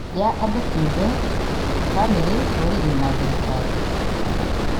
ya andũ kĩũmbe, bamĩrĩ, rũrĩrĩ na thirikari